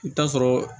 I bɛ taa sɔrɔ